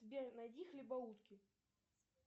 сбер найди хлебоутки